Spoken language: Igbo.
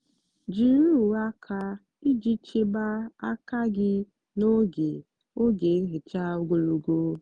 jiri uwe aka iji chebe aka gị n'oge oge nhicha ogologo.